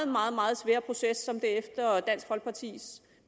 meget meget svære proces som det efter dansk folkepartis